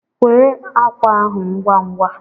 Kwee ákwà ahụ ngwa ngwa!